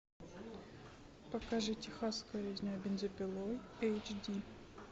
покажи техасская резня бензопилой эйч ди